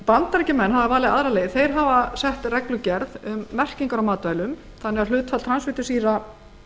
bandaríkjamenn hafa valið aðra leið þeir hafa sett reglugerð um merkingar á matvælum þannig að hlutfall transfitusýra